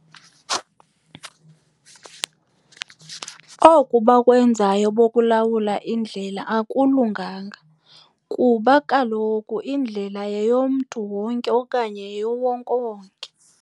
Oku bakwenzayo bokulawula indlela akulunganga kuba kaloku indlela yeyomntu wonke okanye yeyowonkewonke.